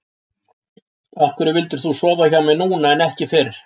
Af hverju vildir þú sofa hjá mér núna en ekki fyrr?